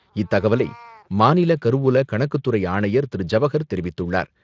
இத்தகவலை மாநில கருவூல கணக்கு துறை ஆணையர் திரு ஜவஹர் தெரிவித்துள்ளார்.